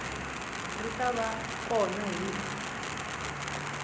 ri ta va kona hi